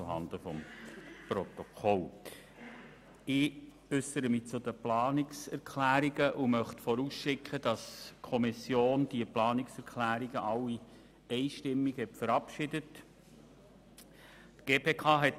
Ich äussere mich nun zu den Planungserklärungen und schicke voraus, dass die Kommission all diese Planungserklärungen einstimmig verabschiedet hat.